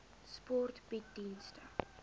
sport bied dienste